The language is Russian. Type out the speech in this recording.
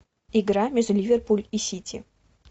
игра между ливерпуль и сити